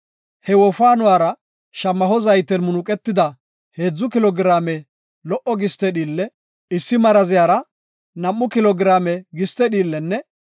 He wofaanuwara shamaho zayten munuqetida heedzu kilo giraame lo77o giste dhiille, issi maraziyara nam7u kilo giraame giste dhiillenne,